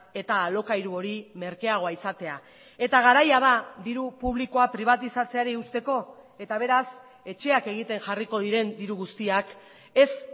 eta alokairu hori merkeagoa izatea eta garaia da diru publikoa pribatizatzeari uzteko eta beraz etxeak egiten jarriko diren diru guztiak ez